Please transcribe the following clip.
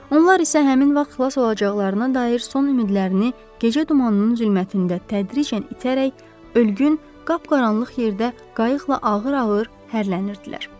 Onlar isə həmin vaxt xilas olacaqlarına dair son ümidlərini gecə dumanının zülmətində tədricən itərək ölgün, qapqaranlıq yerdə qayıqla ağır-ağır hərlənirdilər.